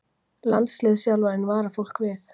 Landsliðsþjálfarinn varar fólk við